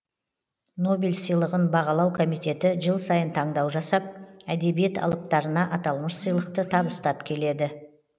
нобель сыйлығын бағалау комитеті жыл сайын таңдау жасап әдебиет алыптарына аталмыш сыйлықты табыстап келеді